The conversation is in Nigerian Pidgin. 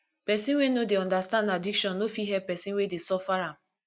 pesin wey no dey understand addiction no fit help pesin wey dey suffer am